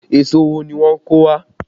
Èso wo ni wọ́n kó wá?